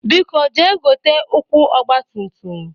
Biko jee gote ụkwụ ọgbatumtum!